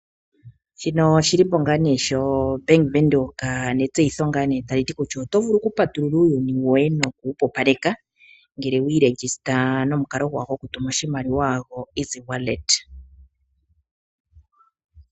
Shino oshilipo ngaa nee shoBank Windhoek, netseyitho ngaa nee tali ti kutya otovulu okupatulula uuyuni woye no kuwupupaleka ngele wiishangitha nomikalo gwawo gokutuma oshimaliwa goEasy Wallet.